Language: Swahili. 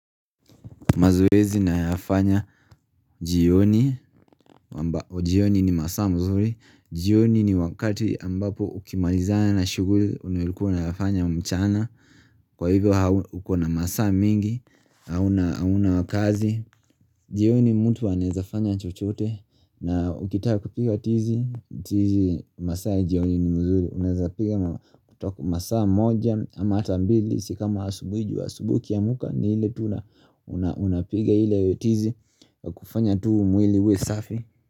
Mazoezi na yafanya jioni, jioni ni masaa mzuri, jioni ni wakati ambapo ukimalizana na shuguri unawilikuwa na yafanya mchana Kwa hivyo hukona masaa mingi, hauna wakazi, jioni mtu anaezafanya chochote na ukitaka kupiga tizi, tizi masaa jioni ni mzuri Unaeza piga masaa moja ama hatambili Sikama asubui ju asubui ukiamuka ni hile tuna unapiga hile tizi kufanya tu mwiliiwe safi.